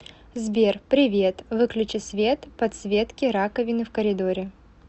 сбер привет выключи свет подсветки раковины в коридоре